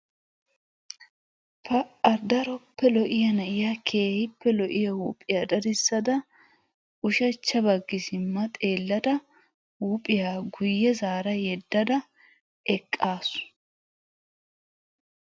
Aa''a daroppe lo''iya na'iya keehippe lo''iya huuphiya dadissada ushachcha baggi simma xeelaydda huuphiya guye zaara yeddada eqaasu.